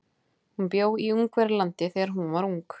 Hún bjó í Ungverjalandi þegar hún var ung.